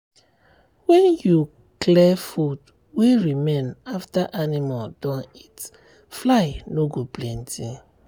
when you clear food wey remain after animal don eat fly no go plenty.